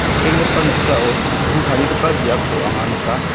nikenggipa noksao mikkang tarigipa biapko anga nika.